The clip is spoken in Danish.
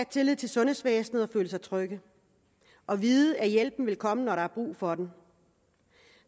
tillid til sundhedsvæsenet føle sig trygge og vide at hjælpen vil komme når der er brug for den